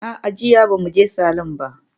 A'a, jiya ba mu je salon ba.